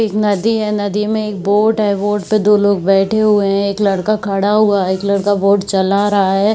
एक नदी है। नदी में एक बोट है। बोट पे दो लोग बैठे हुए हैं। एक लड़का खड़ा हुआ है। एक बोट चला रहा है।